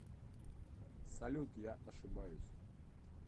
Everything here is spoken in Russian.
салют я ошибаюсь